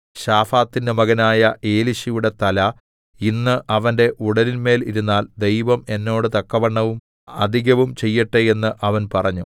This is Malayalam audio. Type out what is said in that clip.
ശാഫാത്തിന്റെ മകനായ എലീശയുടെ തല ഇന്ന് അവന്റെ ഉടലിന്മേൽ ഇരുന്നാൽ ദൈവം എന്നോട് തക്കവണ്ണവും അധികവും ചെയ്യട്ടെ എന്ന് അവൻ പറഞ്ഞു